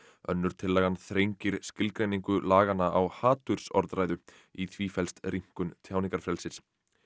önnur tillagan þrengir skilgreiningu laganna á hatursorðræðu í því felst rýmkun tjáningarfrelsis